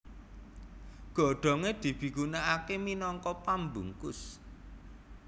Godhongé dipigunakaké minangka pambungkus